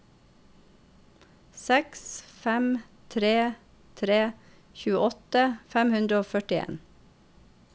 seks fem tre tre tjueåtte fem hundre og førtien